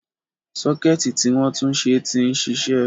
Sọ́kẹ́ẹ̀tì tí wọ́n túnṣe ti ń ṣiṣẹ́.